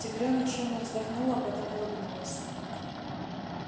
тигрёнок шумно вздохнула потом улыбнулась